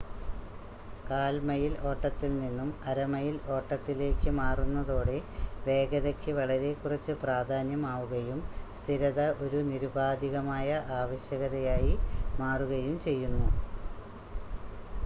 കാൽ മൈൽ ഓട്ടത്തിൽ നിന്നും അര മൈൽ ഓട്ടത്തിലേക്ക് മാറുന്നതോടെ വേഗതയ്ക്ക് വളരെ കുറച്ച് പ്രാധാന്യം ആവുകയും സ്ഥിരത ഒരു നിരുപാധികമായ ആവശ്യകതയായി മാറുകയും ചെയ്യുന്നു